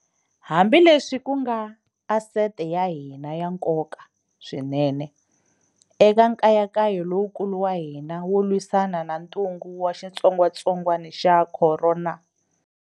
Hambileswi ku nga asete ya hina ya nkoka swinenene eka nkayankayo lowukulu wa hina wo lwisana na ntungu wa xitsongwatsongwana xa corona.